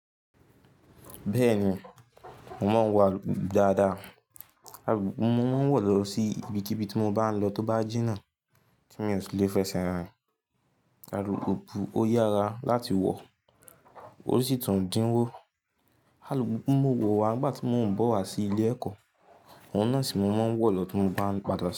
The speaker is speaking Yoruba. Bẹ́ẹ̀ni, mo máa ń wọ àlùpùpù dáadáa. Alùpùpù mo máa ń wọ̀ lọ sí ibikíbi tí mo bá ń lọ tó bá jìnnà ti mi o si lè fẹsẹ̀ rìn. Alùpùpù ó yára láti wọ̀, osì tún dínwó. Alùpùpù mo wọ̀ wá nígbà tí mo ń bọ̀ wá sí ilé ẹ̀kọ́, ohun náà sì máa ń wọ̀ lọ tí mo bá ń padà sí ilé.